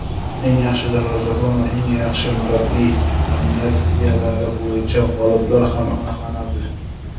"Eng yaxshi darvozabon" va "Eng yaxshi murabbiy" nominatsiyalari bo‘yicha g‘oliblar ham aniqlanadi.